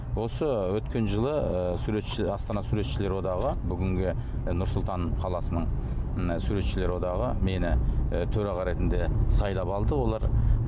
осы өткен жылы ы астана суретшілер одағы бүгінгі і нұр сұлтан қаласының суретшілер одағы мені і төраға ретінде сайлап алды олар